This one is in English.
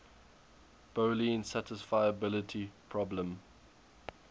boolean satisfiability problem